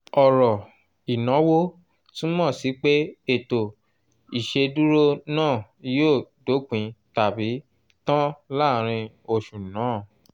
ọrọ “inawo” túmọ̀ sí pé ètò ìṣèdúró náà yóò dópin tabi tan láàrin oṣù náà